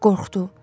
Qorxdu.